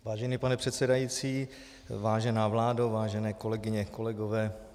Vážený pane předsedající, vážená vládo, vážené kolegyně, kolegové.